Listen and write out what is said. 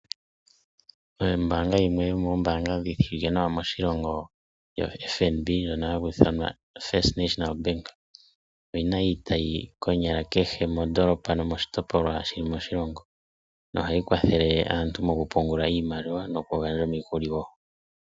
Ombanga yimwe yomoombanga dhoka dhi shiwike moshilongo oFNB, oyina iitayi konyala kehe mondolopa nomoshitopolwa shili moshilongo, no hayi kwathele aantu moku pungula iimaliwa osho wo oku gandja omikuli.